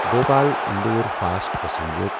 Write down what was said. Bhopal Indore fast passenger